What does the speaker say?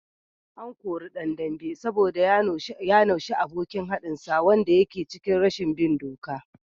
An kore dan dambe saboda ya naushe abokin haɗinsa wanda yake cikin rashin bin doka